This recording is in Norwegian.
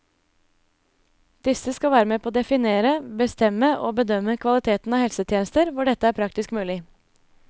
Disse skal være med på å definere, bestemme og bedømme kvaliteten av helsetjenester hvor dette er praktisk mulig.